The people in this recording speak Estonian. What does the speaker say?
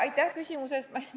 Aitäh küsimuse eest!